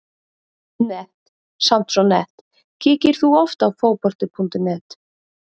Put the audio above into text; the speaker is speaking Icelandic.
nett, samt svo nett Kíkir þú oft á Fótbolti.net?